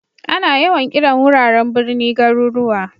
Ana yawan kiran wuraren birni garuruwa.